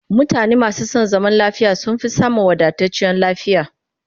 Mutane masu son zaman lafiya sun fi samun wadatacciyar lafiya